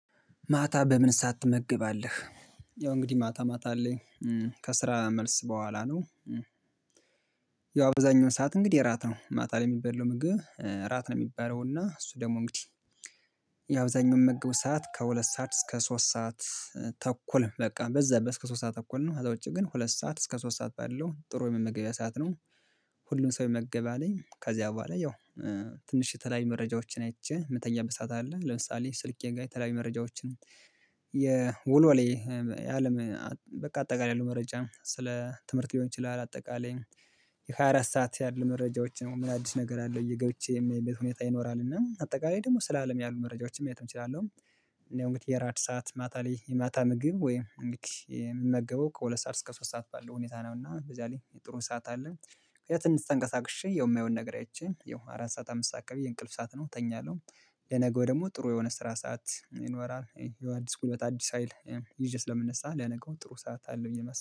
ማታ በምን ሰዓት ትመገባለህ? ያው እንግዲህ ማታ ማታ ላይ ከስራ መልስ በኋላ ነው። ያው አብዛኛው ሰዓት እንግዲህ እራት ነው ማታ ላይ የሚበለው ምግብ እራት ነው የሚባለው እና እሱ ደግሞ እንግዲህ የአብዛኛው ምመገበው ሰዓት ከሁለት ሰዓት እስከ ሶስት ሰዓት ተኩል በቃ በዛ በእስከ ሶስት ሰዓት ተኩል ነው አዛ ውጪ ግን ሁለት ሰዓት እስከ ሶስት ሰዓት ባለው ጥሩ የመመገቢያ ሰዓት ነው። ሁሉን ሰው የመገቢያ አለኝ ከዚያ በኋላ ያው ትንሽ የተለያየ መረጃዎችን አይቼ የምተኛበት ሰዓት አለ። ለምሳሌ ስልኬ ላይ የተለያዩ መረጃዎችን የወልወሌ የአለም በቃ አጠቃላይ ያለው መረጃ ስለ ትምህርት ሊሆን ይችላል። አጠቃላይ የሃያ አራት ሰዓት ያሉ መረጃዎች ነው ምን አዲስ ነገር አለው ብዬ ገብቼ የማይበት ሁኔታ ይኖራል እና አጠቃላይ ደግሞ ስለ አለም ያሉ መረጃዎችም መያዝ እችላለሁ። እኔ እንግዲህ የራት ሰዓት ማታ ላይ የማታ ምግብ ወይም የምመገበው ከሁለት ሰዓት እስከ ሶስት ሰዓት ባለው ሁኔታ ነው። እና በዛ ላይ የጥሩ ሰዓት አለ ምክንያቱም ትንሽ ተንቀሳቅሼ የማየው ነገር ይቺን ያው አራት ሰዓት አምስት ሰዓት ብዬ እንቅልፍ ሰዓት ነው ተኛለሁ። ለነገው ደግሞ ጥሩ የሆነ ስራ ሰዓት ይኖራል። የአዲስ ጉልበት አዲስ ሀይል ይዤ ስለምነሳ ለነገው ጥሩ ሰዓት አለው ብዬ ማስበው